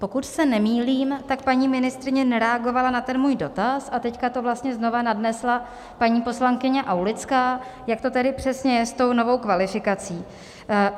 Pokud se nemýlím, tak paní ministryně nereagovala na ten můj dotaz a teď to vlastně znovu nadnesla paní poslankyně Aulická, jak to tedy přesně je s tou novou kvalifikací.